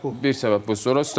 Bir səbəb bu.